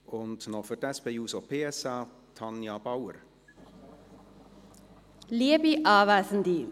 Und noch Tanja Bauer für die SP-JUSO-PSA.